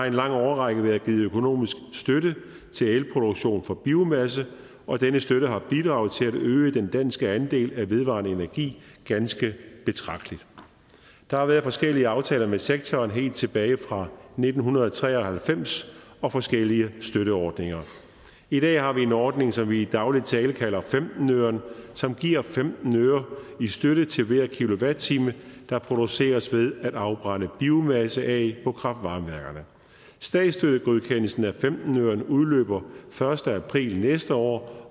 en lang årrække været givet økonomisk støtte til elproduktion fra biomasse og denne støtte har bidraget til at øge den danske andel af vedvarende energi ganske betragteligt der har været forskellige aftaler med sektoren helt tilbage fra nitten tre og halvfems og forskellige støtteordninger i dag har vi en ordning som vi i daglig tale kalder femten øren som giver femten øre i støtte til hver kilowatt time der produceres ved at afbrænde biomasse på kraft varme værkerne statsstøttegodkendelsen af femten øren udløber den første april næste år